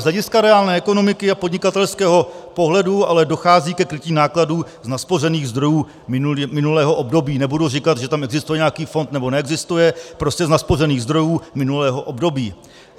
Z hlediska reálné ekonomiky a podnikatelského pohledu ale dochází ke krytí nákladů z naspořených zdrojů minulého období, nebudu říkat, že tam existuje nějaký fond, nebo neexistuje, prostě z naspořených zdrojů minulého období.